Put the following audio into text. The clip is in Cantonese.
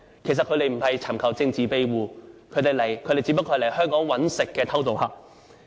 其實他們不是尋求政治庇護，他們只不過是來香港謀生的偷渡客。